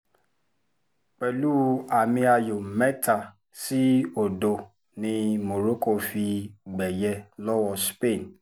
pẹ̀lú àmì-ayò mẹ́ta sí odò ni morocco fi gbẹ̀yẹ lọ́wọ́ spain